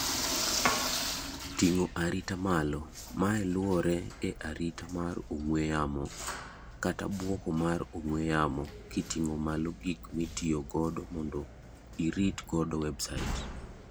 ting'o arita malo; mae luorre e arita mar ong'ue yamo kata bwoko mar ong'ue yamo kiting'o malo gik mitiyo godo mondo irit godo website